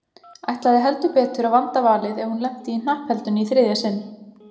Ætlaði heldur betur að vanda valið ef hún lenti í hnappheldunni í þriðja sinn.